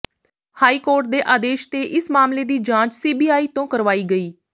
high court ਦੇ ਆਦੇਸ਼ ਤੇ ਇਸ ਮਾਮਲੇ ਦੀ ਜਾਂਚ ਸੀਬੀਆਈ ਤੋਂ ਕਰਵਾਈ ਗਈ